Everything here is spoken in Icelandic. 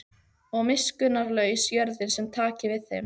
Og miskunnarlaus jörðin sem taki við þeim.